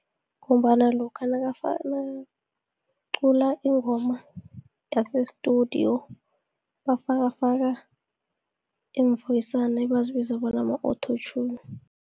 Ngombana lokha nakacula ingoma yase-studio, bafakafaka iimvoyisana ebazibiza bona ma-auto-tune.